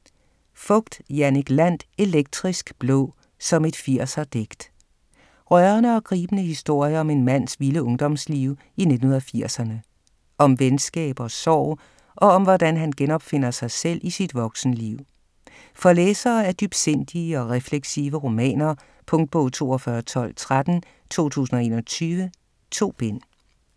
Fogt, Jannik Landt: Elektrisk blå, som et 80'er digt Rørende og gribende historie om en mands vilde ungdomsliv i 1980'erne. Om venskab og sorg, og om hvordan han genopfinder sig selv i sit voksenliv. For læsere af dybsindige og refleksive romaner. Punktbog 421213 2021. 2 bind.